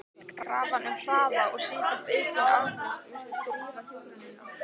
Krafan um hraða og sífellt aukin afköst virtist rýra hjúkrunina.